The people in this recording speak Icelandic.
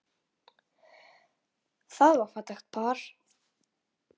Það var fallegt par.